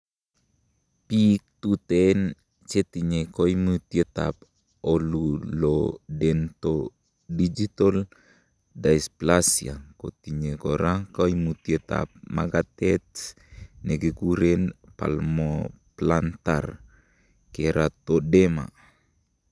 Biik tuten chetinye koimutietab oculodentodigital dysplasia kotinye kora koimutietab makatet nekikuren palmoplantar keratoderma.